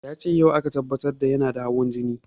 Yace yau aka tabbatar yana da hawan jini